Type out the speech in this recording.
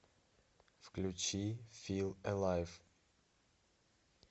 включи фил элайв